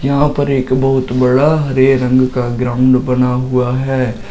यहां पर एक बहोत बड़ा हरे रंग का ग्राउंड बना हुआ है।